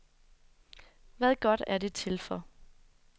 Hvad godt er det til for?